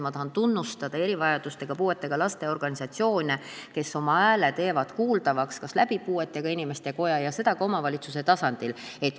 Ma tahan tunnustada erivajadustega, puuetega laste organisatsioone, kes teevad oma hääle kuuldavaks näiteks puuetega inimeste koja kaudu ja ka omavalitsuse tasandil.